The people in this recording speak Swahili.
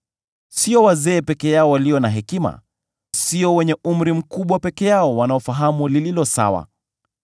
Sio wazee peke yao walio na hekima, sio wenye umri mkubwa peke yao wanaofahamu lililo sawa.